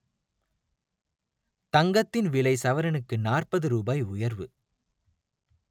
தங்கத்தின் விலை சவரனுக்கு நாற்பது ரூபாய் உயர்வு